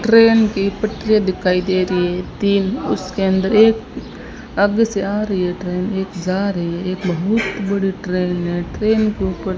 train की पटरिया दिखाई दे रही है तीन उसके अंदर एक आगे से आ रही है ट्रेन एक जा रही है एक बहुत बड़ी ट्रेन है ट्रेन के ऊपर--